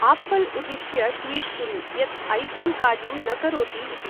Apple उद्दिश्य tweet कुरु यत् ऐफोन् कार्यं न करोति इति।